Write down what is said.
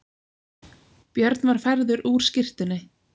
Björn var færður úr skyrtunni.